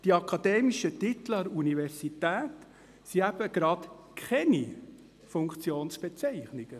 Die akademischen Titel an der Universität sind eben gerade keine Funktionsbezeichnungen.